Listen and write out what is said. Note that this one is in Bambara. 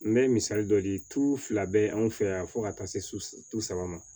N bɛ misali dɔ di tu fila bɛ anw fɛ yan fo ka taa se tubabu ma